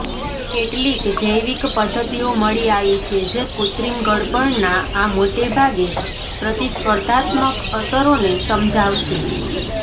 કેટલીક જૈવિક પદ્ધતિઓ મળી આવી છે જે કૃત્રિમ ગળપણના આ મોટેભાગે પ્રતિસ્પર્ધાત્મક અસરોને સમજાવશે